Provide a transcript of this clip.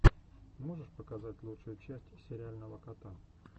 можешь показать лучшую часть сериального кота